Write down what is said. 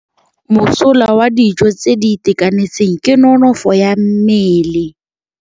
Mosola wa dijô tse di itekanetseng ke nonôfô ya mmele.